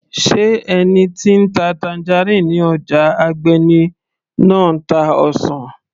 sé ẹni tí ń ta tangerine ní ọjà Agbeni náà ń ta ọsàn